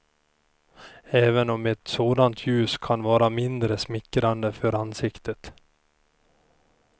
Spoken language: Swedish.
Även om ett sådant ljus kan vara mindre smickrande för ansiktet.